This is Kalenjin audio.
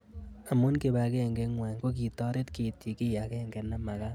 Amu kipag'eng'e ng'wai kokitaret keitchi kiy ag'eng'e namakat